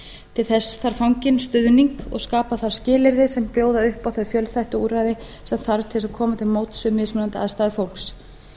til þess þarf fanginn stuðning og skapa þarf skilyrði sem bjóða upp á þau fjölþættu úrræði sem þarf til þess að koma til móts við mismunandi aðstæður fólks